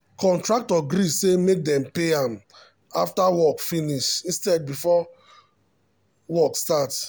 contractor gree say make dem pay am after work finish instead of before work start.